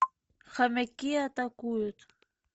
хомяки атакуют